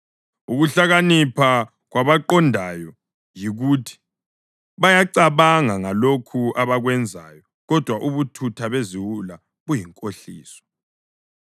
Ukuhlakanipha kwabaqondayo yikuthi bayacabanga ngalokho abakwenzayo, kodwa ubuthutha beziwula buyinkohliso.